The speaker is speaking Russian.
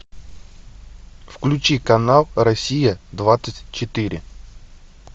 включи канал россия двадцать четыре